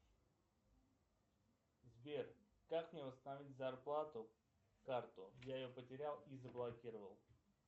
сбер как мне восстановить зарплату карту я ее потерял и заблокировал